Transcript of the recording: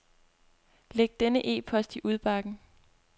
Læg denne e-post i udbakken.